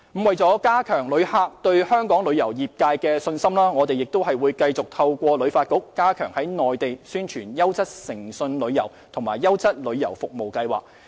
為了加強旅客對香港旅遊業界的信心，我們會繼續透過旅發局加強在內地宣傳優質誠信旅遊和"優質旅遊服務"計劃。